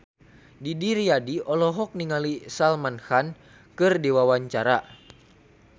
Didi Riyadi olohok ningali Salman Khan keur diwawancara